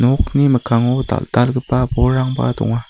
nokni mikkango dal·dalgipa bolrangba donga.